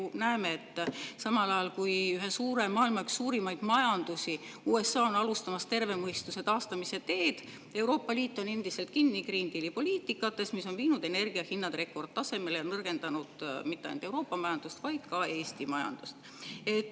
Me ju näeme, et samal ajal, kui maailma üks suurimaid majandusi, USA on alustamas terve mõistuse taastamise teed, on Euroopa Liit endiselt kinni Green Deali poliitikates, mis on viinud energiahinna rekordtasemele ja nõrgendanud mitte ainult Euroopa majandust, vaid ka Eesti majandust.